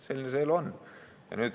Selline see elu on.